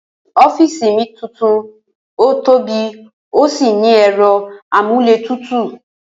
Ó̩fíìsì mi tuntun tóbì ó sì ní è̩ro̩ amúlétutù